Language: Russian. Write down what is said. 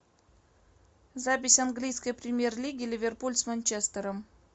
запись английской премьер лиги ливерпуль с манчестером